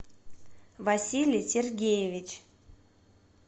василий сергеевич